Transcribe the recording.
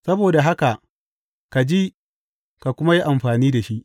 Saboda haka ka ji, ka kuma yi amfani da shi.